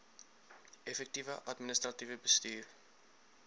effektiewe administratiewe bestuur